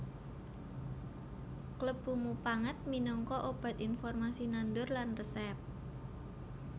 Klebu mupangat minangka obat informasi nandur lan resèp